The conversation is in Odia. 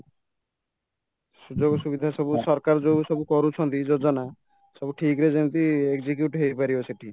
ସୁଯୋଗ ସୁବିଧା ସବୁ ସରକାର ଯୋଉ ସବୁ କରୁଛନ୍ତି ଯୋଜନା ସବୁ ଠିକ୍ ରେ ଯେମିତି execute ହେଇପାରିବ ସେଠି